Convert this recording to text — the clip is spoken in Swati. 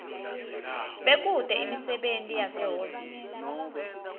bekute imisebenti yasehhovisi